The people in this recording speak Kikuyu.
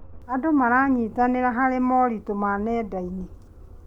Andũ maranyitanĩra harĩ moritũ ma nenda-inĩ.